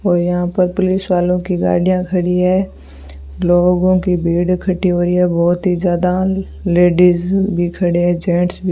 और यहां पर पुलिस वालों की गाड़ियां खड़ी है लोगों की भीड इकट्ठी हुयी है बहोत ही ज्यादा लेडिस भी खड़े हैं जेंट्स भी --